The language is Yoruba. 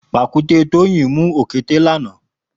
Pàkùté Toyin mù ókété lànã